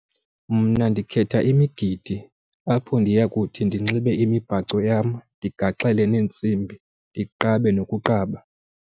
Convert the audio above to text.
Mna ndikhetha imigidi apho ndiya kuthi ndinxibe imibhaco yam ndigaxeleke neentsimbi ndiqabe nokuqaba.